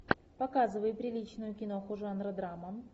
показывай приличную киноху жанра драма